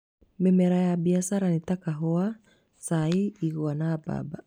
Mĩmera ya mbiacara nĩ ta kahũwa, cai, igwa na mbamba.